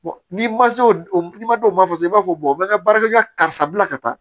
n'i ma se o ma dɔw ma fɔ dɔrɔn i b'a fɔ bɛ ka baarakɛ ka karisa bila ka taa